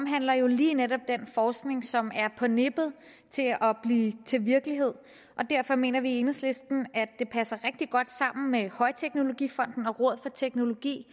har jo lige netop med den forskning som er på nippet til at blive til virkelighed og derfor mener vi i enhedslisten at den passer rigtig godt sammen med højteknologifonden og rådet for teknologi